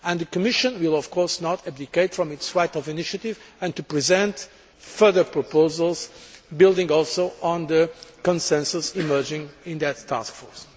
The Commission will, of course, not abdicate from its right of initiative and will present further proposals, building also on the consensus emerging in that task force.